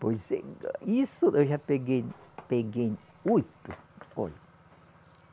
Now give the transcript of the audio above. Pois é. Isso eu já peguei, peguei oito. Olha